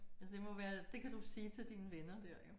Ja det må være det kan du sige til dine venner der jo